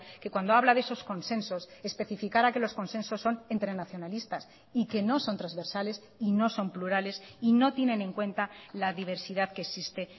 que cuando habla de esos consensos especificara que los consensos son entre nacionalistas y que no son transversales y no son plurales y no tienen en cuenta la diversidad que existe